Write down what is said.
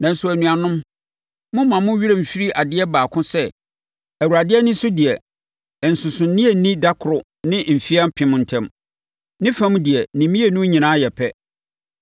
Nanso, anuanom, mommma mo werɛ mfiri adeɛ baako sɛ Awurade ani so deɛ, nsonsonoeɛ nni da koro ne mfeɛ apem ntam. Ne fam deɛ, ne mmienu nyinaa yɛ pɛ.